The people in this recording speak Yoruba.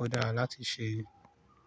ó dára láti ṣe.